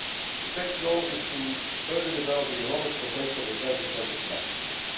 The TEC's role is to further develop the enormous potential of the transatlantic marketplace.